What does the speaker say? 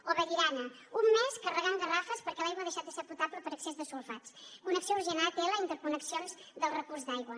o vallirana un mes carregant garrafes perquè l’aigua ha deixat de ser potable per excés de sulfats connexió urgent a atl i interconnexions del recurs d’aigua